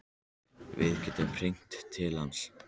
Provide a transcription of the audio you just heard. Við gætum hringt niður til hans.